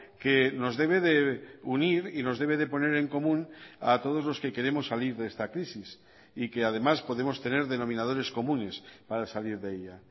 que nos debe de unir y nos debe de poner en común a todos los que queremos salir de esta crisis y que además podemos tener denominadores comunes para salir de ella